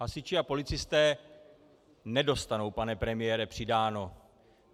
Hasiči a policisté nedostanou, pane premiére, přidáno.